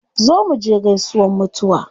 Zo muje gaisuwan mutuwa